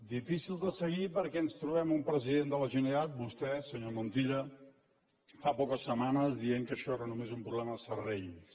difícils de seguir perquè ens trobem un president de la generalitat vostè senyor montilla fa poques setmanes dient que això era només un problema de serrells